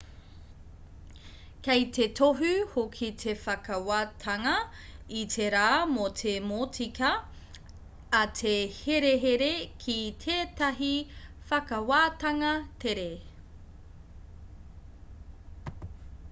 kei te tohu hoki te whakawātanga i te rā mō te motika a te herehere ki tētahi whakawātanga tere